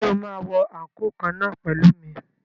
Ṣé o máa wọ àǹkóò kan náà pẹ̀lú mi?